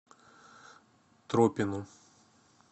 тропину